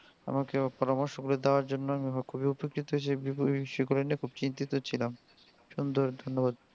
আমাকে পরমার্শ গুলো দেয়ার জন্য আমি খুবই উপকৃত যে খুবই চিন্তিত ছিলাম সুন্দর ধন্যবাদ।